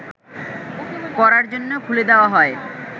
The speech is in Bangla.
করার জন্য খুলে দেয়া হয়